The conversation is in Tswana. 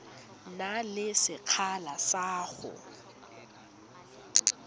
na le sekgala sa go